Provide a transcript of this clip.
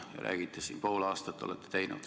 Te räägite siin, et pool aastat olete neid teinud.